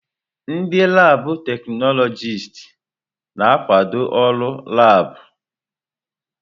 Ndị laabụ̀ teknọlọjịst na-akwado ọrụ ụlọ laabụ̀.